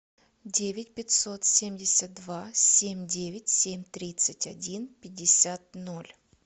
девять пятьсот семьдесят два семь девять семь тридцать один пятьдесят ноль